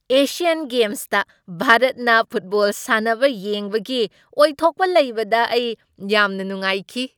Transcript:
Asian ꯒꯦꯝꯁꯇ ꯚꯥꯔꯠꯅ football ꯁꯥꯟꯅꯕ ꯌꯦꯡꯕꯒꯤ ꯑꯣꯏꯊꯣꯛꯄ ꯂꯩꯕꯗ ꯑꯩ ꯌꯥꯝꯅ ꯅꯨꯡꯉꯥꯏꯈꯤ ꯫